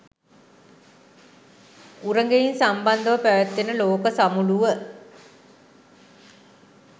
උරගයින් සම්බන්ධව පැවැත්වෙන ලෝක සමුළුව